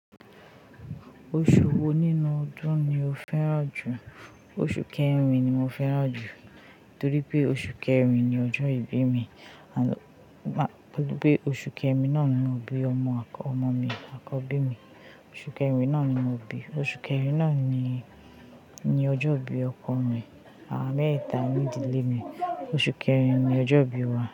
Oṣu wo ninu ọdun ni o fẹran ju? Oṣù Kẹ́rin ni mo fẹ́ràn jù, torípé oṣù Kẹ́rin ni ọjọ́ ìbí mi, torípé oṣù Kẹ́rin náà ni mo bí ọmọ à—ọmọ mi àkọ́bí mi, oṣù Kẹ́rin náà ni mo bí, oṣù Kẹ́rin náà ni ni ọjọ́ ìbí ọkọ mi, àwa mẹ́ẹ̀ta ní ìdílé mi, oṣù Kẹ́rin ni ọjọ́ ìbí wa.